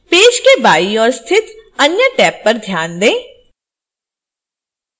page के बाईं ओर स्थित अन्य टैब पर ध्यान दें